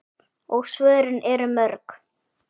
Og svörin eru mörg.